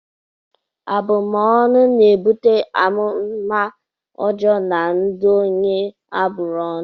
Abumọnu na-ebute amụmá ọjọọ na ndụ onye a bụrụ ọnụ.